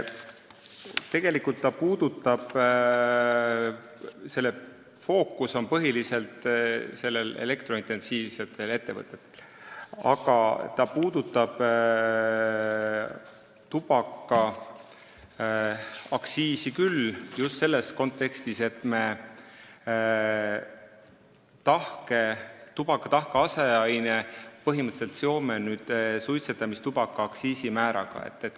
Tegelikult on selle fookus põhiliselt elektrointensiivsetel ettevõtetel, aga ta puudutab tubakaaktsiisi just selles kontekstis, et me tubaka tahke aseaine aktsiisimäära põhimõtteliselt seome nüüd suitsetamistubaka aktsiisimääraga.